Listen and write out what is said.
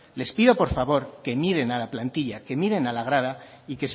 les pido por favor que miren a la plantilla que miren a la grada y